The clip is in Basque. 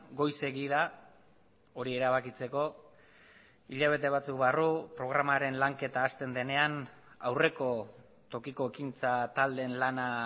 goizegi da hori erabakitzeko hilabete batzuk barru programaren lanketa hasten denean aurreko tokiko ekintza taldeen lana